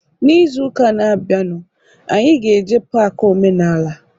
N'izuka na abianu, anyị ga-eje pak omenala